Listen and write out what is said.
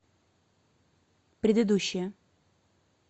предыдущая